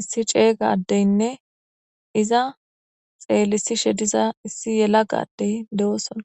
issi ceeyga addeynne iza xeelisishe diza issi yela gadey de7ooson.